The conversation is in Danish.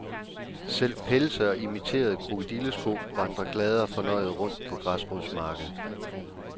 Selv pelse og imiterede krokodillesko vandrer glade og fornøjede rundt på græsrodsmarkedet.